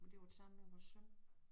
Men det været sammen med vores søn